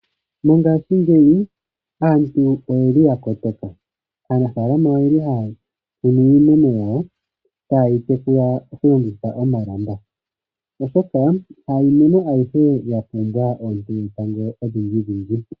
Mongashingeyi aantu oya kotoka. Aanafalama ohaya kokeke iimeno yawo ta yeyi tekula taya longitha omalamba oshoka ha iimeno ayihe ya pumbwa oonte dhetango odhindji.